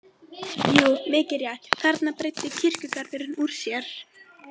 Jú, mikið rétt, þarna breiddi kirkjugarðurinn úr sér.